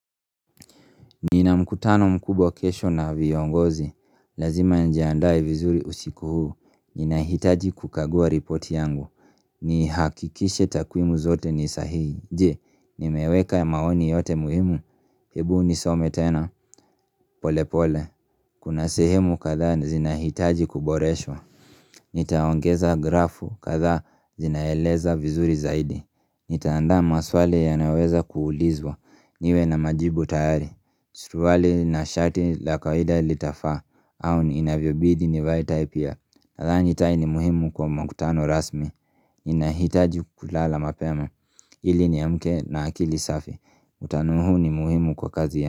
Nina mkutano mkubwa kesho na viongozi, lazima nijiandae vizuri usiku huu, ninahitaji kukagua ripoti yangu Nihakikishe takwimu zote ni sahihi, je, nimeweka maoni yote muhimu, hebu nisome tena, polepole Kuna sehemu kadhaa zinahitaji kuboreshwa nitaongeza grafu kadhaa zinaeleza vizuri zaidi Nitaanda maswali yanaoweza kuulizwa niwe na majibu tayari suruali na shati la kawaida litafaa au inavyobidi nivae tai pia Nadhani tai ni muhimu kwa mkutano rasmi Ninahitaji kulala mapema ili niamke na akili safi mkutano huu ni muhimu kwa kazi ya.